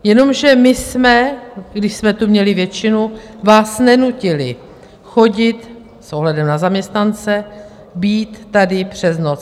Jenomže my jsme, když jsme tu měli většinu, vás nenutili chodit - s ohledem na zaměstnance - být tady přes noc.